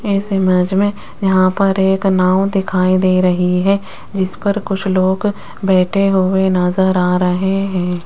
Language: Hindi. इस इमेज मे यहां पर एक नांव दिखाई दे रही है जिस पर कुछ लोग बैठे हुए नज़र आ रहे है।